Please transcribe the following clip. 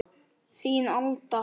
Þín, Alda.